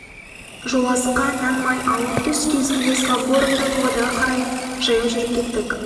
жолазыққа нан май алып түс кезінде славгородтан павлодарға қарай жаяу жүріп кеттік